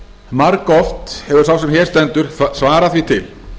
margoft hefur sá sem hér stendur svarað því til